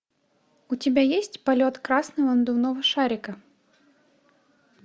у тебя есть полет красного надувного шарика